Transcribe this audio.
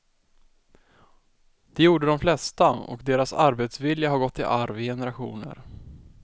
Det gjorde de flesta, och deras arbetsvilja har gått i arv i generationer.